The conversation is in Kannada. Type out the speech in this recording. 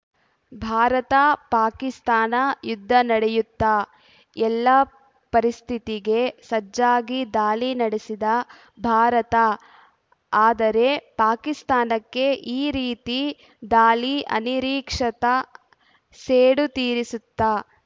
ಭಾರತ ಪಾಕಿಸ್ತಾನ ಯುದ್ಧ ನಡೆಯುತ್ತಾ ಎಲ್ಲ ಪರಿಸ್ಥಿತಿಗೆ ಸಜ್ಜಾಗಿ ದಾಳಿ ನಡೆಸಿದ ಭಾರತ ಆದರೆ ಪಾಕಿಸ್ತಾನಕ್ಕೆ ಈ ರೀತಿ ದಾಳಿ ಅನಿರೀಕ್ಷಿತ ಸೇಡು ತೀರಿಸುತ್ತಾ